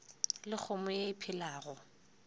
le kgomo ye e phelago